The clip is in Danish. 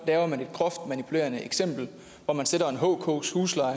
laver man et groft manipulerende eksempel hvor man sætter en hkers husleje